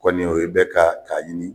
O Kɔni o ye bɛ ka k'a ɲini.